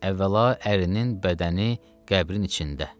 əvvəla ərinin bədəni qəbrin içində.